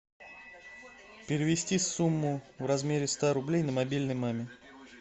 перевести сумму в размере ста рублей на мобильный маме